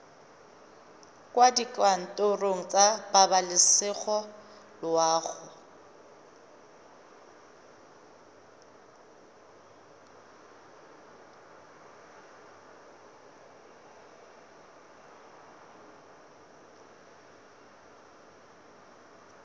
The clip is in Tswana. kwa dikantorong tsa pabalesego loago